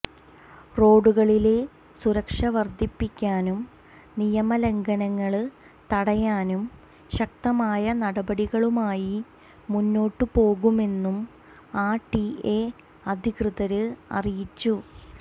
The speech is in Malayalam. റോഡുകളിലെ സുരക്ഷ വര്ധിപ്പിക്കാനും നിയമ ലംഘനങ്ങള് തടയാനും ശക്തമായ നടപടികളുമായി മുന്നോട്ടു പോകുമെന്നും ആര് ടി എ അധികൃതര് അറിയിച്ചു